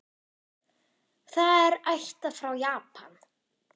Það er ættað frá Japan.